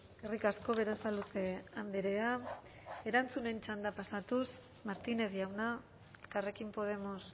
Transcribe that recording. eskerrik asko berasaluze andrea erantzunen txanda pasatuz martínez jauna elkarrekin podemos